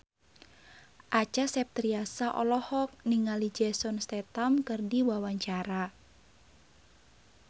Acha Septriasa olohok ningali Jason Statham keur diwawancara